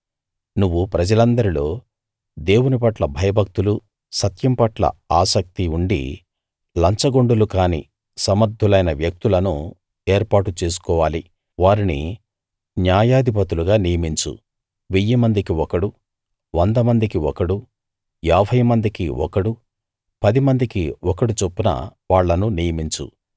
నువ్వు ప్రజలందరిలో దేవుని పట్ల భయభక్తులు సత్యం పట్ల ఆసక్తి ఉండి లంచగొండులుకాని సమర్ధులైన వ్యక్తులను ఏర్పాటు చేసుకోవాలి వారిని న్యాయాధిపతులుగా నియమించు వెయ్యి మందికి ఒకడు వంద మందికి ఒకడు యాభై మందికి ఒకడు పది మందికి ఒకడు చొప్పున వాళ్ళను నియమించు